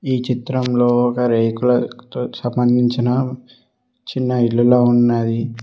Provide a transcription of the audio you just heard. ఈ చిత్రంలో ఒక రేకుల సంబంధించిన చిన్న ఇల్లుల ఉన్నది.